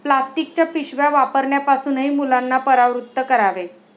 प्लास्टिकच्या पिशव्या वापरण्यापासूनही मुलांना परावृत्त करावे.